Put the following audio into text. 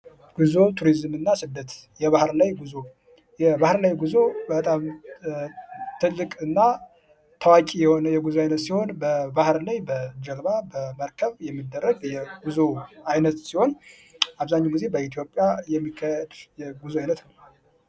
ጉዞ ቱሪዝም እና ስደት የባህር ላይ ጉዞ፡ የባህር ላይ ጉዞ በጣም ትልቅ እና ታዋቁ የሆነ የጉዞ አይነት ሲሆን በባህር ላይ በጀልባ በመርከብ የሚደረግ የጉዞ አይነት ሲሆን አብዛኛውን ጊዜ በኢትዮጵያ የሚካሄድ የጉዞ አይነት ነው።